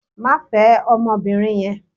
Má fẹ ọmọbìnrin yẹn.